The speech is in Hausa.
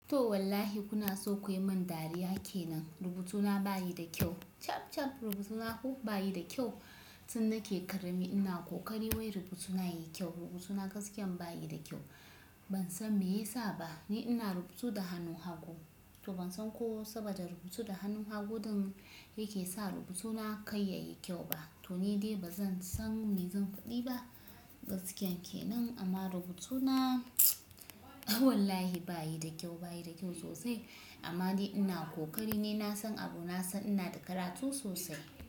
To wallahi kuna so kuyi mun dariya kenan. Rubutuna bayi da ƙyau. Cab cab, rubutan bayi da ƙyau. Tun nake ƙarami ina ƙoƙari wai rubutuna yayi kyau. Rubutuna gaskiyan bayi da kyau. Ban san me yasa ba. Ni ina rubutu da hannu hagu. To ban san ko saboda rubutu da hannu hagu ɗin yake sa rubutuna kar yayi kyau ba. To ni dai ba zan san me zan faɗi ba. Gaskiya kenan amma rubutuna wallahi bayi da kyau, bayi da kyau sosai. Amma dai ina ƙoƙari ni nasan abu nasan ina da karatu sosai.